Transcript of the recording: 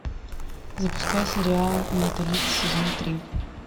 запускай сериал менталист сезон три